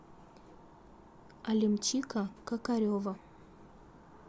алимчика кокарева